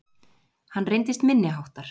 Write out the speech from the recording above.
Hann reyndist minniháttar